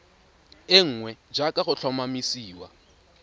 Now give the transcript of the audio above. e nngwe jaaka go tlhomamisiwa